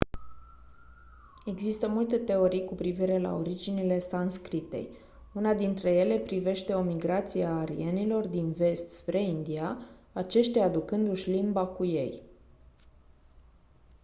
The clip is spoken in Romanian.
există multe teorii cu privire la originile sanscritei una dintre ele privește o migrație a arienilor din vest spre india aceștia aducându-și limba cu ei